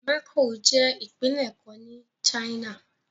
Macao jẹ́ ìpínlẹ̀ kan ní China.